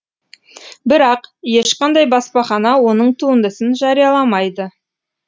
бірақ ешқандай баспахана оның туындысын жарияламайды